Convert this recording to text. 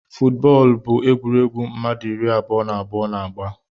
Footu bóólú bụ egwuruegwu mmadụ ịrị abụọ na abụọ na-agba.